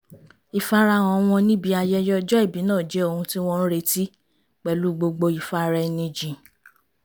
ìfarahàn wọn níbi ayẹyẹ ọjọ́ ìbí náà jẹ́ ohun tí wọ́n ń retí pẹ̀lú gbogbo ìfara-ẹni-jìn